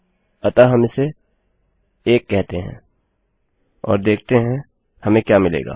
अतः हम इसे 1 कहते हैं और देखते हैं हमें क्या मिलेगा